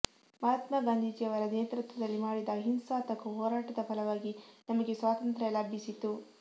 ಮಹಾತ್ಮ ಗಾಂಧೀಜಿಯವರ ನೇತೃತ್ವದಲ್ಲಿ ಮಾಡಿದ ಅಹಿಂಸಾತ್ಮಕ ಹೋರಾಟದ ಫಲವಾಗಿ ನಮಗೆ ಸ್ವಾತಂತ್ರ್ಯ ಲಭಿಸಿತು